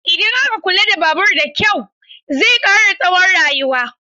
Idan aka kula da babur da kyau, zai kara tsawon rayuwa.